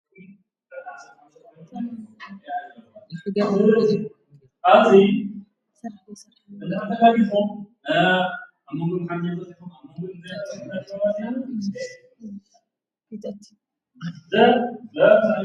ፉጐዱ ኣ ታጐሰ ኣነኅቶቓንኂ ኣ ኣምዉ ኅነዘኩቶ ፊዘቲ።